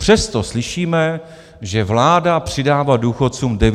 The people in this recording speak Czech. Přesto slyšíme, že vláda přidává důchodcům 900 korun.